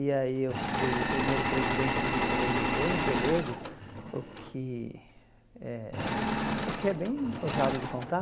E aí eu fui o primeiro presidente de um Grêmio bem pelego, o que é o que é bem ousado de contar.